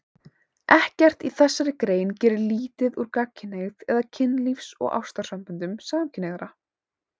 Ekkert í þessari grein gerir lítið úr gagnkynhneigð eða kynlífs- og ástarsamböndum gagnkynhneigðra.